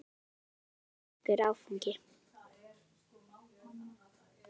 Þetta var merkur áfangi.